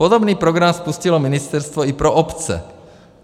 Podobný program spustilo ministerstvo i pro obce.